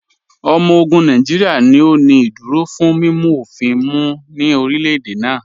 Ọmọ ogun Nàìjíríà ni ó ní ìdúró fún mímu ofìn mú ní orílẹ̀-èdè náà.